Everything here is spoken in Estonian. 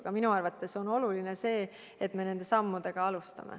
Aga minu arvates on oluline, et me neid samme alustame.